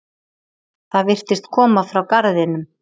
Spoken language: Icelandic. Það virtist koma frá garðinum.